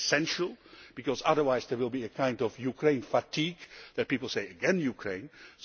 That is essential, because otherwise there will be a kind of Ukraine fatigue where people say Ukraine again?'